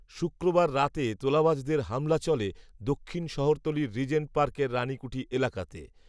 শুক্রবার রাতে তোলাবাজদের হামলা চলে, দক্ষিণ শহরতলির, রিজেন্ট পার্কের রানিকূঠি এলাকাতে